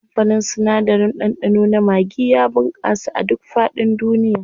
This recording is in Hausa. Kamfanin sinadarin ɗanɗano na maggi ya bunƙasa a duk faɗin duniya.